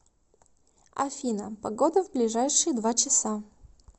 афина погода в ближайшие два часа